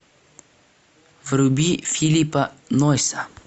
вруби филлипа нойса